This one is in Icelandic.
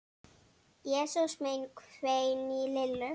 Jesús minn hvein í Lillu.